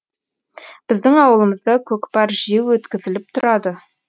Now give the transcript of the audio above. біздің ауылымызда көкпар жиі өткізіліп тұрады